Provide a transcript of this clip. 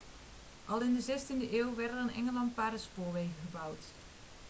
al in de 16e eeuw werden er in engeland paardenspoorwegen gebouwd